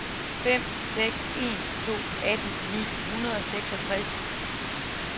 fem seks en to atten ni hundrede og seksogtres